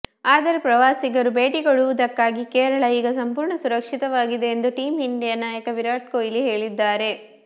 ಆದರೆ ಪ್ರವಾಸಿಗರು ಭೇಟಿ ಕೊಡುವುದಕ್ಕಾಗಿ ಕೇರಳ ಈಗ ಸಂಪೂರ್ಣ ಸುರಕ್ಷಿತವಾಗಿದೆ ಎಂದು ಟೀಮ್ ಇಂಡಿಯಾ ನಾಯಕ ವಿರಾಟ್ ಕೊಹ್ಲಿ ಹೇಳಿದ್ದಾರೆ